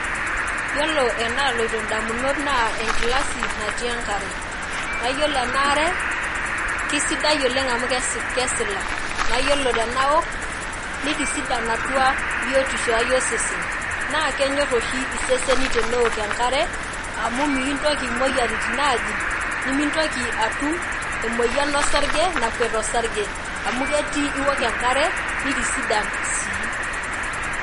Yiolo enaloito indamunot naa enkilasi natii enkare. Na yiolo enaare, kisidai oleng amu kesila. Na yiolo tenaok, nitisidan atua biotisho osesen. Na kenyor oshi iseseni teneok enkare, amu mikintoki imoyiaritin ajing', nimintoki atum emoyian osarge, nakuet osarge, amu ketii iwok enkare, nitisidan sii.